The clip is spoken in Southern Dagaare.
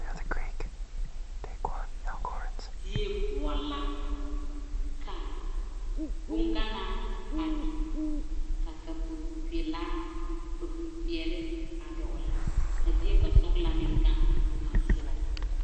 Die poɔ la ka bonganaa a biŋe ka kupri peɛle a dɔgle ka die basɔglaa meŋ gaŋ a teŋɛ sogɔ.